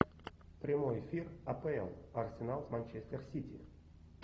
прямой эфир апл арсенал с манчестер сити